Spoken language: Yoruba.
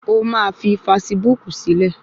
O máa fi fasibúùkù sílẹ̀